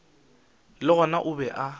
le gona o be a